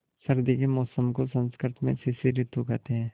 सर्दी के मौसम को संस्कृत में शिशिर ॠतु कहते हैं